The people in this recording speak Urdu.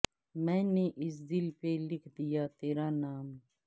میں نے اس دل پہ لکھ دیا تیرا نام